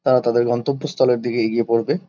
তারা তাদের গন্তব্যস্থলের দিকে এগিয়ে পরবে।